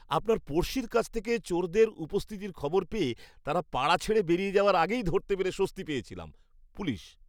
আপনার পড়শির কাছ থেকে চোরদের উপস্থিতির খবর পেয়ে তারা পাড়া ছেড়ে বেরিয়ে যাওয়ার আগেই ধরতে পেরে স্বস্তি পেয়েছিলাম। পুলিশ